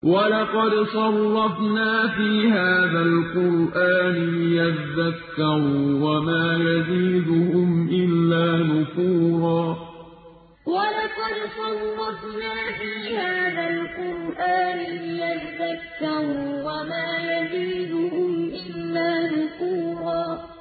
وَلَقَدْ صَرَّفْنَا فِي هَٰذَا الْقُرْآنِ لِيَذَّكَّرُوا وَمَا يَزِيدُهُمْ إِلَّا نُفُورًا وَلَقَدْ صَرَّفْنَا فِي هَٰذَا الْقُرْآنِ لِيَذَّكَّرُوا وَمَا يَزِيدُهُمْ إِلَّا نُفُورًا